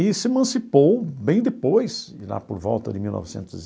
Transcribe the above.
E se emancipou bem depois, de lá por volta de mil novecentos